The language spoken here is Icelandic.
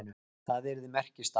Það yrði merkisdagur.